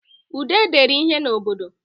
Ude dere ihe n'bodo